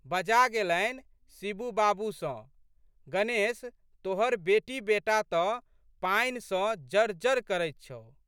बजा गेलनि शिबू बाबू सँ, गणेश तोहर बेटीबेटा तऽ पानि सँ जरजर करैत छहु।